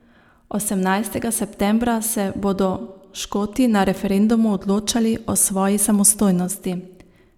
Osemnajstega septembra se bodo Škoti na referendumu odločali o svoji samostojnosti.